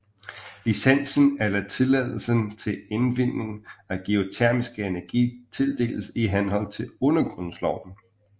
Licensen eller tilladelsen til indvinding af geotermisk energi tildeles i henhold til Undergrundsloven